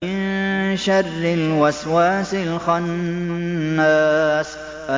مِن شَرِّ الْوَسْوَاسِ الْخَنَّاسِ